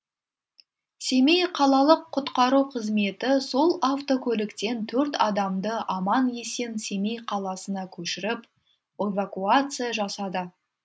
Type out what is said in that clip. семей қалалық құтқару қызметі сол автокөліктен төрт адамды аман есен семей қаласына көшіріп эвакуация жасады